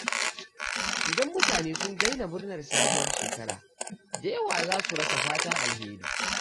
Idan mutane sun daina murnar sabuwar shekara, da yawa za su rasa fatan alheri.